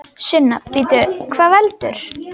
Sunna: Bíddu, hvað veldur?